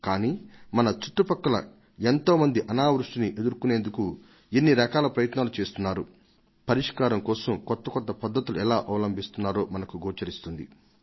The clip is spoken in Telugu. కానీ మన చుట్టుపక్కల ఎంతో మంది అనావృష్టిని ఎదుర్కొనేందుకు ఎన్ని రకాల ప్రయత్నాలు చేస్తున్నారో పరిష్కారం కోసం ఎలా కొత్త కొత్త పద్ధతులను అవలంబిస్తున్నారో మనకు గోచరిస్తుంది